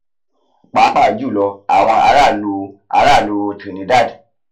pàápàá jùlọ àwọn ará ìlú ará ìlú trinidad